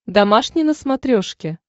домашний на смотрешке